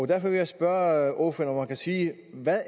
derfor vil jeg spørge ordføreren kan sige hvad